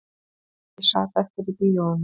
Ég sat eftir í bíóinu